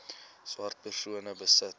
swart persone besit